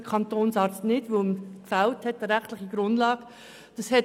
Dem Kantonsarzt blieb dies verwehrt, weil eine rechtliche Grundlage fehlte.